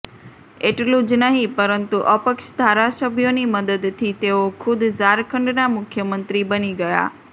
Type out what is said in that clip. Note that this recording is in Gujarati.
એટલું જ નહીં પરંતુ અપક્ષ ધારાસભ્યોની મદદથી તેઓ ખુદ ઝારખંડના મુખ્યમંત્રી બની ગયા